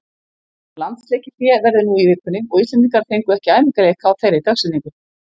Landsleikjahlé verður nú í vikunni og Íslendingar fengu ekki æfingaleik á þeirri dagsetningu.